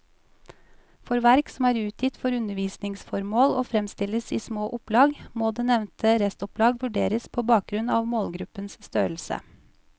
For verk som er utgitt for undervisningsformål og fremstilles i små opplag, må det nevnte restopplag vurderes på bakgrunn av målgruppens størrelse.